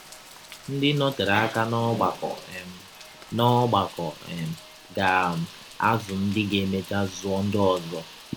Ndị nọterela aka n’ọgbakọ um n’ọgbakọ um ga um - azụ ndị ga - emecha zụọ ndị ọzọ.